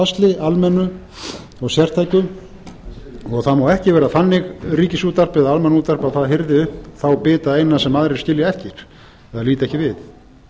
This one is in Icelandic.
í fátæktarbasli almennu og sértæku það má ekki vera þannig ríkisútvarp eða almannaútvarp að það hirði upp þá bita eina sem aðrir skilja eftir eða líta ekki við